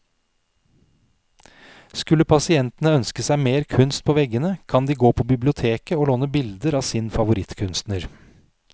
Skulle pasientene ønske seg mer kunst på veggene, kan de gå på biblioteket å låne bilder av sin favorittkunstner.